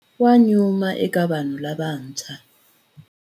Wa nyuma eka vanhu lavantshwa.